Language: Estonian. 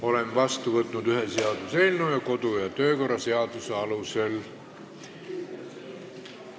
Olen vastu võtnud ühe seaduseelnõu, tegeleme temaga edasi kodu- ja töökorra seaduse alusel.